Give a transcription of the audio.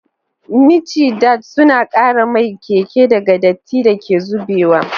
Micidad suna kare mai keken daga datti da ke zubewa.